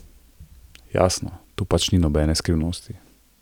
Jasno, tu pač ni nobene skrivnosti.